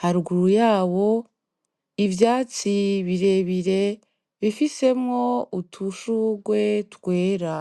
haruguru yawo ivyatsi birebire bifisemwo udushurwe twera.